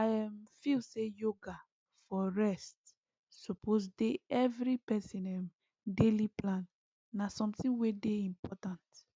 i um feel say yoga for rest suppose dey every person um daily plan na something wey dey important